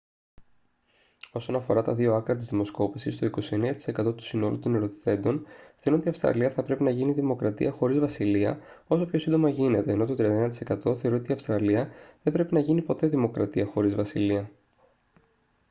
όσον αφορά τα δύο άκρα της δημοσκόπησης το 29% του συνόλου των ερωτηθέντων θεωρούν ότι η αυστραλία θα πρέπει να γίνει δημοκρατία χωρίς βασιλεία όσο πιο σύντομα γίνεται ενώ το 31% θεωρεί ότι η αυστραλία δεν πρέπει να γίνει ποτέ δημοκρατία χωρίς βασιλεία